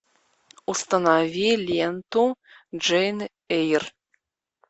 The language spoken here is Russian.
установи ленту джейн эйр